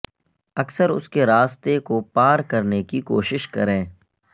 اکثر اس کے راستے کو پار کرنے کی کوشش کریں